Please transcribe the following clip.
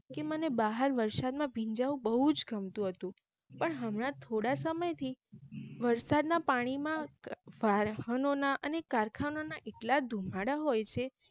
કે મને બહાર વરસાદ માં ભીંજાવું બહુ જ ગમતું હતું પણ હમણાં તો થોડા સમય થી વરસાદ ના પાણી માં વાહનો ના અને કારખાના ના એટલા ધુમાડા હોઈ છે